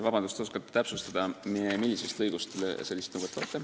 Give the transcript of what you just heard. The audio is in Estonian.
Vabandust, kas te täpsustaksite, mis lõigust te sellist nõuet loete?